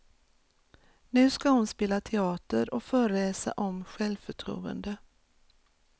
Nu ska hon spela teater och föreläsa om självförtroende.